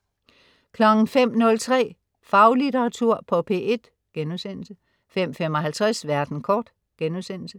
05.03 Faglitteratur på P1* 05.55 Verden kort*